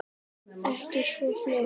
Ekki svo fljótt.